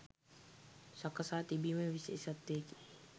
සකසා තිබීම විශේෂත්වයකි.